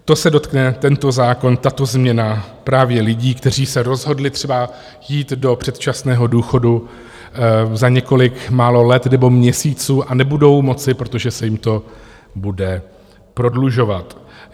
To se dotkne, tento zákon, tato změna právě lidí, kteří se rozhodli třeba jít do předčasného důchodu za několik málo let nebo měsíců a nebudou moci, protože se jim to bude prodlužovat.